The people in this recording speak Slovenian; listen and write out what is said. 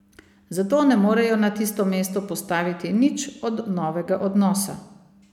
Zato ne morejo na tisto mesto postaviti nič od novega odnosa.